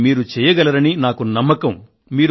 అది మీరు చేయగలరని నాకు నమ్మకం ఉంది